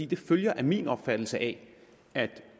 det følger af min opfattelse af at